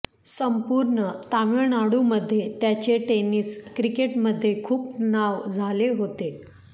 संपूर्ण तामिळनाडूमध्ये त्याचे टेनिस क्रिकेटमध्ये खूप नाव झाले होते